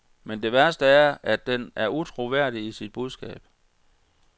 Men det værste er, at den er utroværdig i sit budskab.